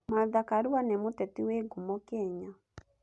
Martha Karua nĩ mũteti wĩ ngumo Kenya.